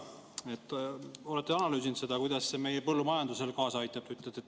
Kas olete analüüsinud, kuidas see meie põllumajandusele kaasa aitab?